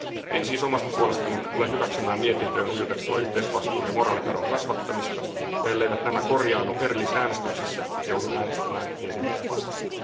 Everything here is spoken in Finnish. En siis omasta puolestani tule hyväksymään mietintöön ujutettua yhteisvastuun ja moraalikadon kasvattamista, ja elleivät nämä korjaannu erillisäänestyksissä, joudun äänestämään mietintöä vastaan.